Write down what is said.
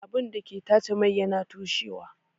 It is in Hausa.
Abun dake tace mai yana toshewa